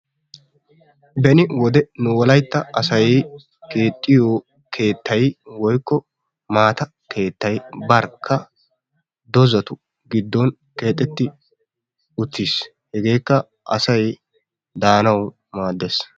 beni wode nu wolaytta asay keexxiyo keettay, woykko maata keettay barkka, dozatu giddon keexeti utiis. hegeekka asay daanawu maadees.